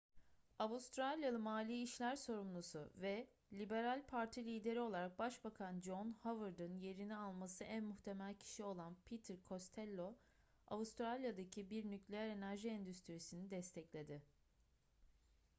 avustralyalı mali işler sorumlusu ve liberal parti lideri olarak başbakan john howard'ın yerini alması en muhtemel kişi olan peter costello avustralya'daki bir nükleer enerji endüstrisini destekledi